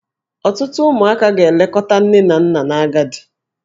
Ọtụtụ ụmụaka ga-elekọta nne na nna n'agadi.